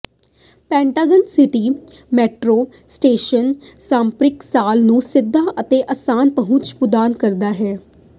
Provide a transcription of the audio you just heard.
Pentagon City metro station shopping mall ਨੂੰ ਸਿੱਧਾ ਅਤੇ ਆਸਾਨ ਪਹੁੰਚ ਪ੍ਰਦਾਨ ਕਰਦਾ ਹੈ